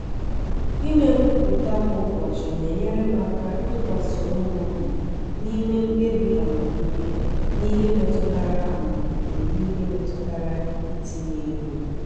ịme nkwupụta kwa ụbọchị na-enyere m aka ịtụkwasị onwe m obi n’ịme mkpebi amamihe n’ihe metụtara amamihe n’ihe metụtara itinye ego.